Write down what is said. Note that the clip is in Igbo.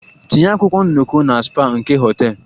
Tinye akwụkwọ nnọkọ na spa nke hotel!